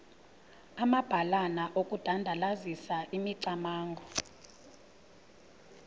amabalana okudandalazisa imicamango